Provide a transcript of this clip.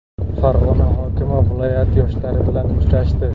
Farg‘ona hokimi viloyat yoshlari bilan uchrashdi.